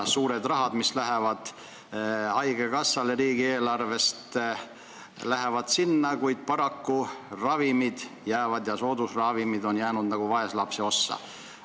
Suur raha läheb riigieelarvest haigekassale, kuid paraku on ravimid ja soodusravimid jäänud nagu vaeslapse ossa.